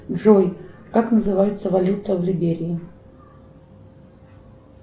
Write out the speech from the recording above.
джой как называется валюта в либерии